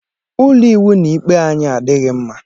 Ụlọ ịwụ na ikpe anyị adịghị mma.